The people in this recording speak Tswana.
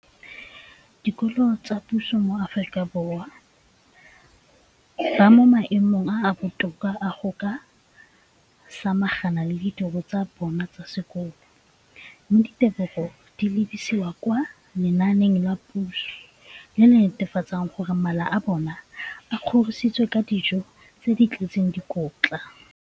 dikolo tsa puso mo Aforika Borwa ba mo maemong a a botoka a go ka samagana le ditiro tsa bona tsa sekolo, mme ditebogo di lebisiwa kwa lenaaneng la puso le le netefatsang gore mala a bona a kgorisitswe ka dijo tse di tletseng dikotla.